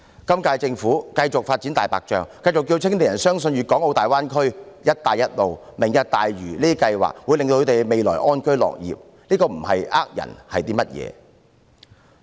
今屆政府繼續發展"大白象"，繼續叫青年人相信粵港澳大灣區、"一帶一路"和"明日大嶼願景"計劃會讓他們安居樂業，如果這不是騙人，又是甚麼？